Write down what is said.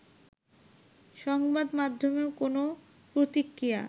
সংবাদমাধ্যমেও কোনও প্রতিক্রিয়া